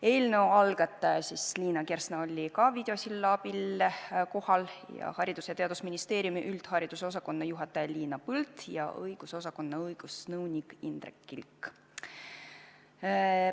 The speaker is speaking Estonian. Eelnõu algataja Liina Kersna oli ka videosilla abil kohal ja samuti olid kohal Haridus- ja Teadusministeeriumi üldharidusosakonna juhataja Liina Põld ja õigusosakonna õigusnõunik Indrek Kilk.